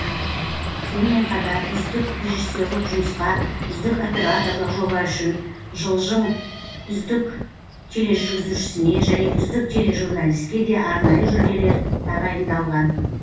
сонымен қатар үздік режиссерлік жұмысқа үздік операторлық жоба үшін жылджың үздік тележүргізушісіне және үздік тележурналистке де арнайы жүлделер тағайындалған